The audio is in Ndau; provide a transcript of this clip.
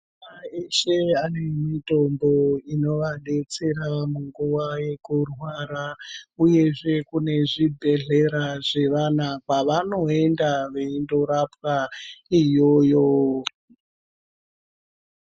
Madzimai eshe vane mutombo unovadetsera munguwa yekurwara uyezve kune zvibhedhlera zvevana kwavanonga veienda veindorapwa iyoyo.